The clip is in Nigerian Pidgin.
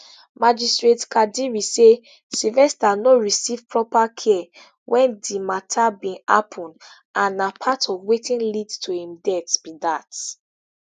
magistrate kadiri say sylvester no receive proper care wen di mata bin happun and na part of wetin lead to im death be dat